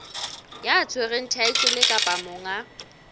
ya tshwereng thaetlele kapa monga